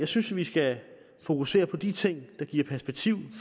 synes vi skal fokusere på de ting der giver perspektiv i